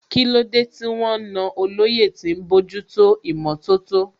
Kílódé tí wọ́n na olóyè tí ń bójútó ìmọ̀tótó?